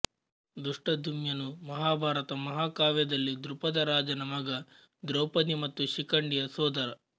ದೃಷ್ಟದ್ಯುಮ್ನ ನು ಮಹಾಭಾರತ ಮಹಾಕಾವ್ಯದಲ್ಲಿ ದ್ರುಪದ ರಾಜನ ಮಗ ದ್ರೌಪದಿ ಮತ್ತು ಶಿಖಂಡಿಯ ಸೋದರ